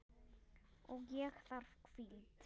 Og ég þarf hvíld.